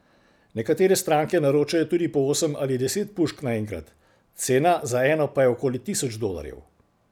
Nekatere stranke naročajo tudi po osem ali deset pušk naenkrat, cena za eno pa je okoli tisoč dolarjev.